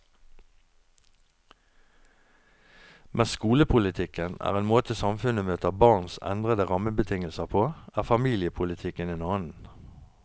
Mens skolepolitikken er en måte samfunnet møter barns endrede rammebetingelser på, er familiepolitikken en annen.